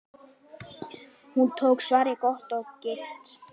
Hún tók svarið gott og gilt.